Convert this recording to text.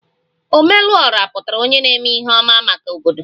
Ome lu Ora pụtara onye na-eme ihe ọma maka obodo